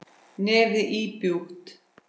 Nefið íbjúgt.